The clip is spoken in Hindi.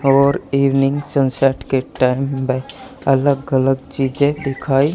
और इवनिंग सनसेट के टाइम में अलग अलग चीजें दिखाई--